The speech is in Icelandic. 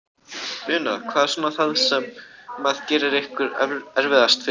Una: Hvað er svona það sem að gerir ykkur erfiðast fyrir?